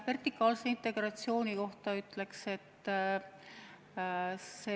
Aitäh!